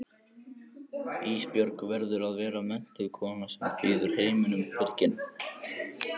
Ísbjörg verður að vera menntuð kona sem býður heiminum byrginn.